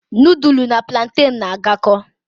Nudulu na pulanten n'agako